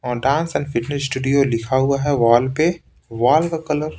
dance and fitness studio लिखा हुआ है वॉल पे वॉल का कलर --